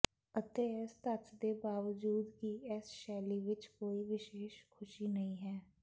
ਅਤੇ ਇਸ ਤੱਥ ਦੇ ਬਾਵਜੂਦ ਕਿ ਇਸ ਸ਼ੈਲੀ ਵਿਚ ਕੋਈ ਵਿਸ਼ੇਸ਼ ਖੁਸ਼ੀ ਨਹੀਂ ਹੈ